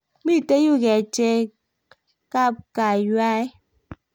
mito yue kerchekabkaywae